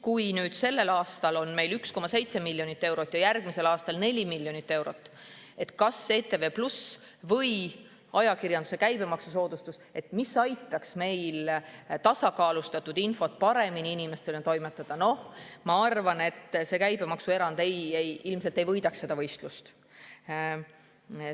Kui meil on sellel aastal 1,7 miljonit eurot ja järgmisel aastal 4 miljonit eurot kanalile ETV+ või ajakirjanduse käibemaksusoodustuseks, et aidata tasakaalustatud infot paremini inimesteni toimetada, siis ma arvan, et käibemaksuerand ilmselt ei võidaks seda võistlust.